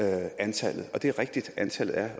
antallet og det er rigtigt at antallet er